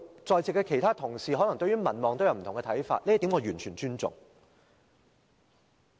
在席的其他同事對於民望都有不同看法，我完全尊重這點。